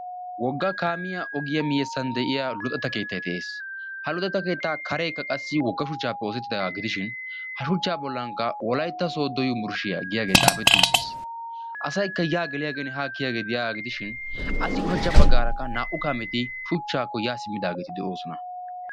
Woggaa kaamiya guyesan deiya luxetta keettaay de'ees. Ha luxetta keetta karee shuchchappe oosetidaga gidishin ha shuchcha bollan wolaytta sodo yunburshshiyaa giyage xaafeti uttis. Asaykka ya geliyagene kiyiyage deiyaga gidishin appe ushshachcha baggaaraka naa'u kaameeti deosona.